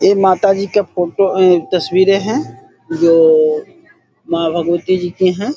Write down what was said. ये माताजी जी का फोटो तस्वीरे है जो मां भगवती जी की है।